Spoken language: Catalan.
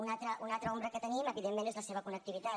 una altra ombra que tenim evidentment és la seva connectivitat